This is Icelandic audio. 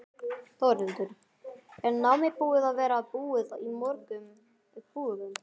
Þórhildur: Er nammið búið að vera búið í mörgum búðum?